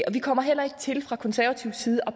og vi kommer heller ikke til fra konservativ side at